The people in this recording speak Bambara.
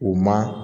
U ma